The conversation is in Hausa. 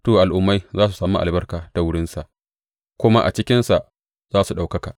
to al’ummai za su sami albarka ta wurinsa kuma a cikinsa za su ɗaukaka.